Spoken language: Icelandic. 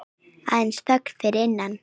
Aðeins þögnin fyrir innan.